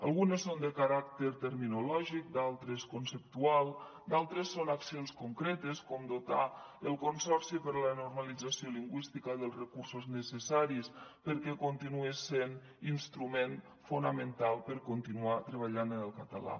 algunes són de caràcter terminològic d’altres conceptual d’altres són accions concretes com dotar el consorci per a la normalització lingüística dels recursos necessaris perquè continuï sent instrument fonamental per continuar treballant en el català